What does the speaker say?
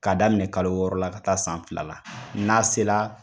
Ka daminɛ kalo yɔrɔ la ka taa san fila la n'a sela